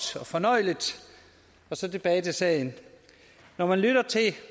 og fornøjeligt og så tilbage til sagen når man lytter til